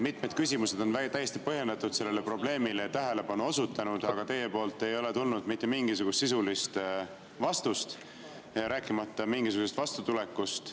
Mitmed küsimused on täiesti põhjendatult sellele probleemile tähelepanu juhtinud, aga teilt ei ole tulnud mitte mingisugust sisulist vastust, rääkimata mingisugusest vastutulekust.